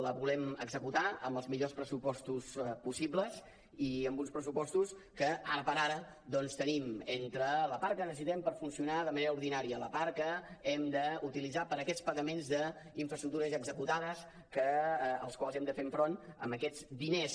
la volem executar amb els millors pressupostos possibles i amb uns pressupostos que ara per ara doncs tenim entre la part que necessitem per funcionar de manera ordinària la part que hem d’utilitzar per a aquests pagaments d’infraestructures ja executades als quals hem de fer front amb aquests diners